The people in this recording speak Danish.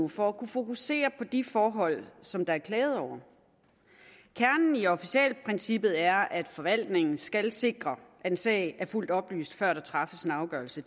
for at kunne fokusere på de forhold som der er klaget over kernen i officialprincippet er at forvaltningen skal sikre at en sag er fuldt oplyst før der træffes en afgørelse